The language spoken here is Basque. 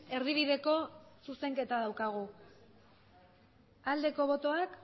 erdibideko zuzenketa daukagu aldeko botoak